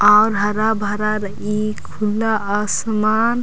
आर हरा-भरा रइई खुला आसमान--